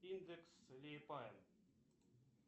индекс лиепая